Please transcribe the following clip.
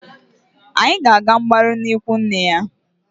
Anyị ga-aga mgbarụ n'ikwu nne ya.